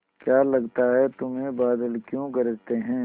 क्या लगता है तुम्हें बादल क्यों गरजते हैं